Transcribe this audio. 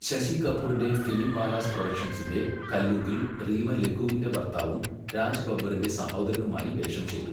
ശശി കപൂറിന്റെ ഫിലിംവാലാസ് പ്രൊഡക്ഷൻസിന്റെ കല്യൂഗിൽ റീമ ലഗൂവിന്റെ ഭർത്താവും രാജ് ബബ്ബറിന്റെ സഹോദരനുമായി വേഷം ചെയ്തു.